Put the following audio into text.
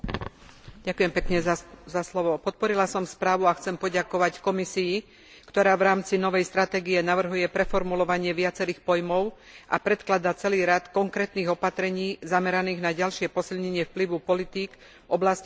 Podporila som správu a chcem poďakovať Komisii, ktorá v rámci novej stratégie navrhuje preformulovanie viacerých pojmov a predkladá celý rad konkrétnych opatrení zameraných na ďalšie posilnenie vplyvu politik v oblasti sociálnej zodpovednosti podnikov.